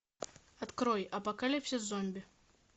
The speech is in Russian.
открой апокалипсис зомби